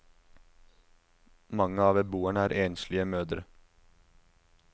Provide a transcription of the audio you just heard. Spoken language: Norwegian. Mange av beboerne er enslige mødre.